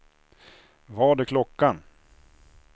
Vad är klockan